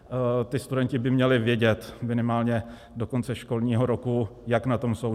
Ti studenti by měli vědět minimálně do konce školního roku, jak na tom jsou.